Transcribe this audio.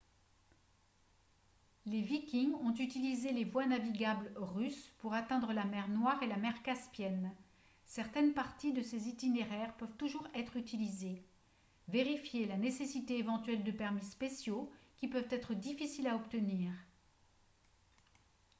les vikings ont utilisé les voies navigables russes pour atteindre la mer noire et la mer caspienne certaines parties de ces itinéraires peuvent toujours être utilisées vérifiez la nécessité éventuelle de permis spéciaux qui peuvent être difficiles à obtenir